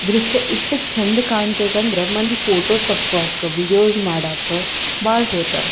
ದೃಶ್ಯ ಇಟ್ ಚಂದ ಕಾಣ್ತೈತಂದ್ರ ಮಂದಿ ಫೋಟೋ ತಕ್ಕೊಳಕ್ಕ ವೀಡಿಯೋಸ್ ಮಾಡಕ್ಕ ಬಾಳ್ ಹೋತಾರ .